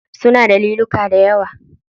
Suna da liluka dayawa.